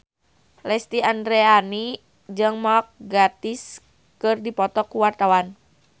Lesti Andryani jeung Mark Gatiss keur dipoto ku wartawan